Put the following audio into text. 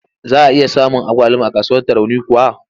Za a iya samun agwaluma a kasuwar Tarauni kuwa?